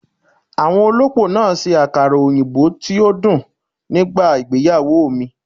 Àwọn olópò náà ṣe àkàrà òyìnbó tí ó dùn nígbà ìgbéyàwó mi